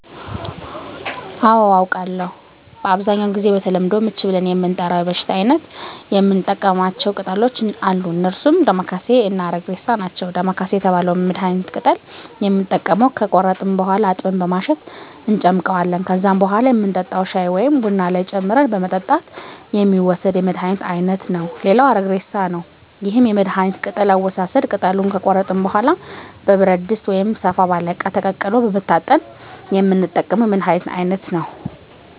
አዎ አውቃለሁ በአብዛኛው ጊዜ በተለምዶ ምች ብለን ለምንጠራው የበሽታ አይነት የምንጠቀማቸው ቅጠሎች አሉ እነርሱም ዳማከሴ እና አረግሬሳ ናቸው ዳማከሴ የተባለውን የመድሀኒት ቅጠል የምንጠቀመው ከቆረጥን በኋላ አጥበን በማሸት እንጨምቀዋለን ከዛም በኋላ የምንጠጣው ሻይ ወይም ቡና ላይ ጨምረን በመጠጣት የሚወሰድ የመድሀኒት አይነት ነው ሌላው አረግሬሳ ነው ይህም የመድሀኒት ቅጠል አወሳሰድ ቅጠሉን ከቆረጥን በኋላ በብረት ድስት ወይም ሰፋ ባለ እቃ ተቀቅሎ በመታጠን የምንጠቀመው የመድሀኒት አይነት ነው